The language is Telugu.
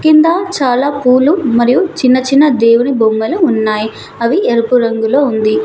కింద చాలా పూలు మరియు చిన్న చిన్న దేవుడి బొమ్మలు ఉన్నాయి అవి ఎరుపు రంగులో ఉంది.